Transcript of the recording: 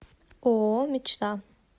ооо мечта